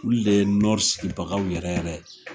Olu de ye Nɔri sigibagaw yɛrɛ yɛrɛ de ye.